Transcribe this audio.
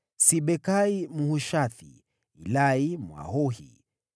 Sibekai Mhushathi, Ilai Mwahohi,